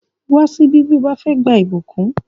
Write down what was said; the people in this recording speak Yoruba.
Wá síbí bí ìwọ bá fẹ́ gba ìbùkún!